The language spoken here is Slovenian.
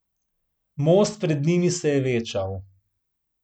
Most pred njimi se je večal.